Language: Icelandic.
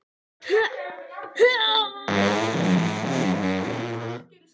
Ég hélt að það myndi aldrei slokkna í þeim.